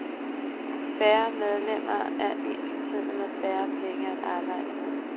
Færre medlemmer er ensbetydende med færre penge at arbejde med.